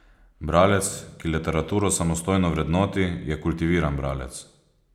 Bralec, ki literaturo samostojno vrednoti, je kultiviran bralec.